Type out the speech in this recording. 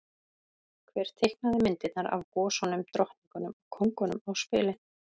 Hver teiknaði myndirnar af gosunum, drottningunum og kóngunum á spilin?